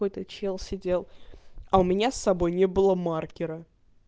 какой то чел сидел а у меня собой не было маркера